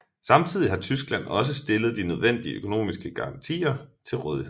Samtidig har Tyskland også stillet de nødvendige økonomiske garantier til rådighed